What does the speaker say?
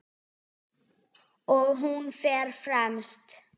Og hún fer fremst.